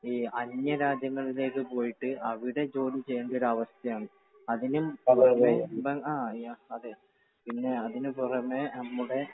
ഈ അന്യ രാജ്യങ്ങളിലേക്ക് പോയിട്ട് അവിടെ ജോലി ചെയ്യേണ്ട ഒരു അവസ്ഥ ആണ്. അതിനും ആ അതെ. പിന്നെ അതിനുപുറമേ നമ്മുടെ